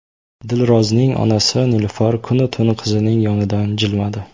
Dilrozning onasi Nilufar kunu-tun qizining yonidan jilmadi.